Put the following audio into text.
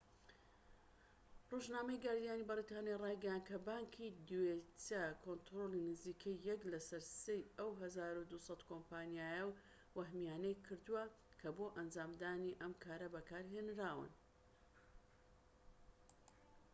ڕۆژنامەی گاردیانی بەریتانی ڕایگەیاند کە بانکی دۆیچە کۆنتڕۆڵی نزیکەی یەك لەسەر سێی ئەو١٢٠٠ کۆمپانیا وەهمییانەی کردووە کە بۆ ئەنجامدانی ئەم کارە بەکارهێنراون